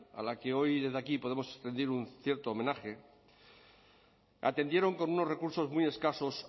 a las que hoy desde aquí podemos rendir un cierto homenaje atendieron con unos recursos muy escasos